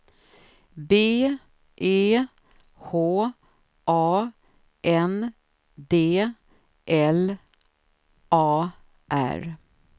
B E H A N D L A R